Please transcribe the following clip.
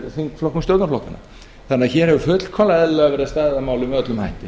þingflokkum stjórnarflokkanna hér hefur því fullkomlega eðlilega væri staðið að málum með öllum hætti